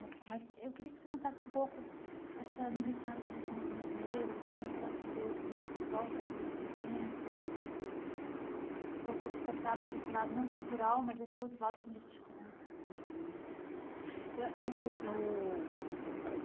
Mas mas eu queria que você contasse um pouco essa militância, nesse movimento negro, como é que ela se deu quando você volta, então, desse evento eh, que você falou que foi despertada para esse lado não cultural, mas esse outro lado político né uhum eh eu eu.